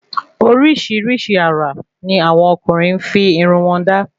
Orísirísi àrà ni àwọn ọkùnrin fi irun wọ́n da